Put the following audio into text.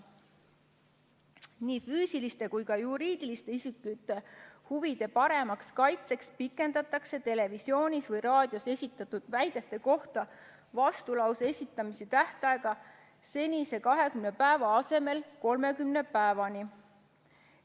Nii füüsiliste kui ka juriidiliste isikute huvide paremaks kaitseks pikendatakse televisioonis või raadios esitatud väidete kohta vastulause esitamise tähtaega seniselt 20 päevalt 30 päevani.